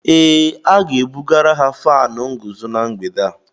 Ee, A ga-ebugara ha fánu nguzo na mgbede a